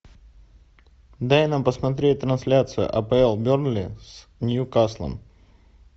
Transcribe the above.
дай нам посмотреть трансляцию апл бернли с ньюкаслом